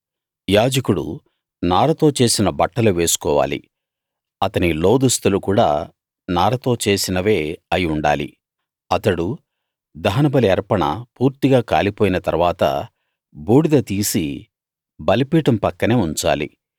యాజకుడు నారతో చేసిన బట్టలు వేసుకోవాలి అతని లోదుస్తులు కూడా నారతో చేసినవే అయి ఉండాలి అతడు దహనబలి అర్పణ పూర్తిగా కాలిపోయిన తరువాత బూడిద తీసి బలిపీఠం పక్కనే ఉంచాలి